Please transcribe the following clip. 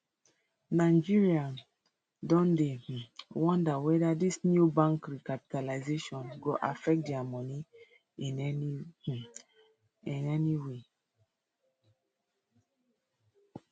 nigerian don dey um wonder weda dis new bank recapitalisation go affect dia moni in um any way